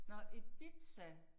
Nåh Ibiza